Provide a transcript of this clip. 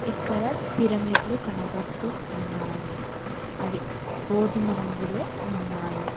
ఇక్కడ పిరమిట్లు కనబడుతూ ఉన్నాయి అవి గోధుమ రంగులో ఉన్నాయి.